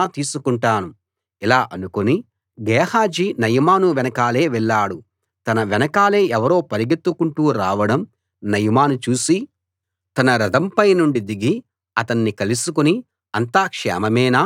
ఇలా అనుకుని Gehazi Naaman వెనకాలే వెళ్ళాడు తన వెనకాలే ఎవరో పరుగెత్తుకుంటూ రావడం నయమాను చూసి తన రథంపై నుండి దిగి అతణ్ణి కలుసుకుని అంతా క్షేమమేనా అని అడిగాడు